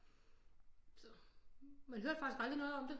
Så man hører faktisk aldrig noget om det